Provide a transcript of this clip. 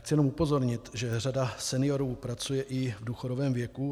Chci jenom upozornit, že řada seniorů pracuje i v důchodovém věku.